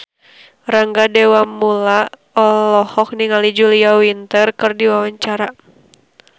Rangga Dewamoela olohok ningali Julia Winter keur diwawancara